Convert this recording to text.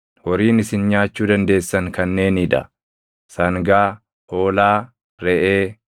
Horiin isin nyaachuu dandeessan kanneenii dha; sangaa, hoolaa, reʼee,